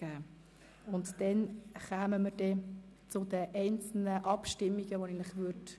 Danach führen wir die einzelnen Abstimmungen durch.